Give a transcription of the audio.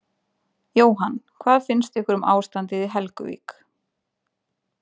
Jóhann: Hvað finnst ykkur um ástandið í Helguvík?